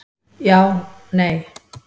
Já, nei.